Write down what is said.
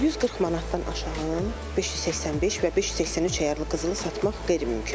140 manatdan aşağı 585 və 583 əyarlı qızılı satmaq qeyri-mümkündür.